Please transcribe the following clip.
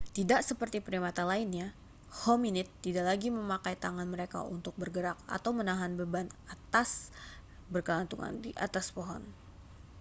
tidak seperti primata lainnya hominid tidak lagi memakai tangan mereka untuk bergerak atau menahan beban atau saat bergelantungan di atas pohon